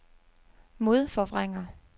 modforvrænger